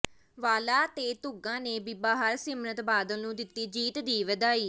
ਵਾਹਲਾ ਤੇ ਧੁੱਗਾ ਨੇ ਬੀਬਾ ਹਰਸਿਮਰਤ ਬਾਦਲ ਨੂੰ ਦਿੱਤੀ ਜਿੱਤ ਦੀ ਵਧਾਈ